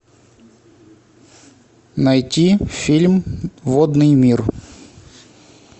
найти фильм водный мир